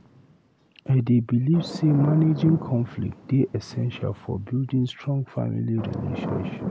I dey believe say managing conflicts dey essential for building strong family relationships.